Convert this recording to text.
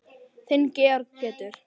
Þinn Georg Pétur.